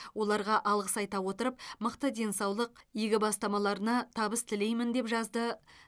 оларға алғыс айта отырып мықты денсаулық игі бастамаларына табыс тілеймін деп жазды